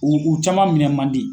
U u caman minɛ man di.